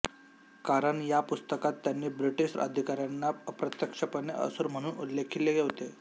कारण या पुस्तकात त्यांनी ब्रिटिश अधिकाऱ्यांना अप्रत्यक्षपणे असुर म्हणून उल्लेखिले होते